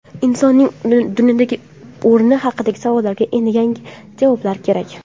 Insonning dunyodagi o‘rni haqidagi savollarga endi yangi javoblar kerak.